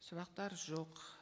сұрақтар жоқ